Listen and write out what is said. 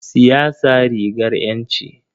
Siyasa rigar ƴanci.